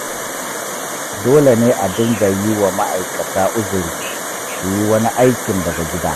Dole ne a dinga yi wa ma'akata uziri su yi wani aikin daga gida.